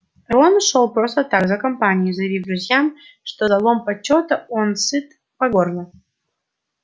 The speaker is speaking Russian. рон шёл просто так за компанию заявив друзьям что залом почёта он сыт по горло